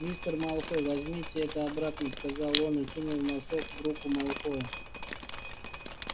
мистер малфой возьмите это обратно сказал он и сунул носок в руку малфоя